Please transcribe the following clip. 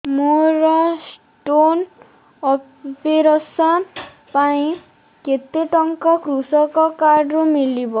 ମୋର stone operation ପାଇଁ କେତେ ଟଙ୍କା କୃଷକ କାର୍ଡ ରୁ ମିଳିବ